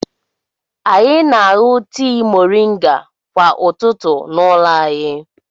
Anyị na-aṅụ tii mọrịnga kwa ụtụtụ n'ụlọ anyi.